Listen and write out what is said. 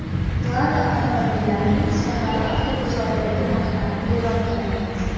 Lada avtomobillarining Sirg‘ali avtobozoridagi narxlari e’lon qilindi.